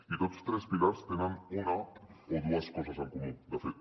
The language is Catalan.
i tots tres pilars tenen una o dues coses en comú de fet